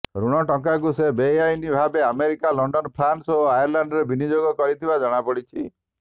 ଋଣ ଟଙ୍କାକୁ ସେ ବେଆଇନ ଭାବେ ଆମେରିକା ଲଣ୍ଡନ ଫ୍ରାନ୍ସ ଓ ଆୟର୍ଲାଣ୍ଡରେ ବିନିଯୋଗ କରିଥିବା ଜଣାପଡିଛି